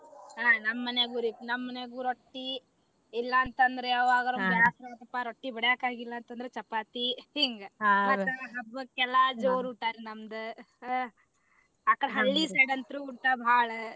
ಹಾ ನಮ್ ಮನ್ಯಾಗುರೀ ನಮ್ ಮನ್ಯಾಗು ರೊಟ್ಟಿ ಇಲ್ಲಾ ಅಂತಂದ್ರ ಯಾವಾಗರ ಬ್ಯಾಸರ ಆಯ್ತಪಾ ರೊಟ್ಟಿ ಬಡ್ಯಾಕ ಆಗಿಲ್ಲಾ ಅಂತಂದ್ರ ಚಪಾತಿ ಹಿಂಗ ಮತ್ತ ಹಬ್ಬಕ್ಕ ಎಲ್ಲಾ ಜೋರ ಊಟಾರಿ ನಮ್ದ ಅಕಡೆ ಹಳ್ಳಿ side ಅಂತೂ ಊಟಾ ಬಾಳ.